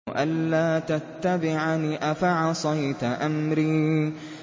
أَلَّا تَتَّبِعَنِ ۖ أَفَعَصَيْتَ أَمْرِي